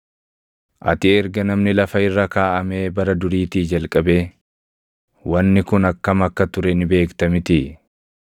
“Ati erga namni lafa irra kaaʼamee bara duriitii jalqabee wanni kun akkam akka ture ni beekta mitii?